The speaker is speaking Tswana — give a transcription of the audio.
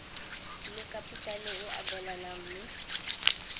le kapitale e abelanwang mme